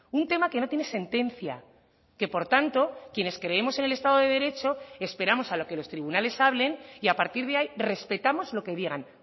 un tema que no tiene sentencia que por tanto quienes creemos en el estado de derecho esperamos a lo que los tribunales hablen y a partir de ahí respetamos lo que digan